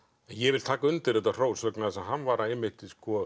ég vil taka undir þetta hrós vegna þess að hann var einmitt